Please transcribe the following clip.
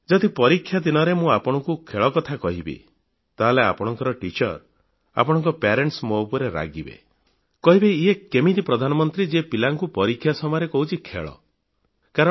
ଯଦି ପରୀକ୍ଷା ଦିନରେ ମୁଁ ଆପଣଙ୍କୁ ଖେଳ କଥା କହିବି ତାହେଲେ ଆପଣଙ୍କ ଶିକ୍ଷକ ଆପଣଙ୍କ ଅଭିଭାବକ ମୋ ଉପରେ ରାଗିବେ କହିବେ ଇଏ କେମିତି ପ୍ରଧାନମନ୍ତ୍ରୀ ଯିଏ ପିଲାଙ୍କୁ ପରୀକ୍ଷା ସମୟରେ କହୁଛି ଖେଳ କଥା